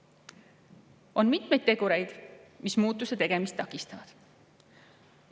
On mitmeid tegureid, mis muutuse tegemist takistavad.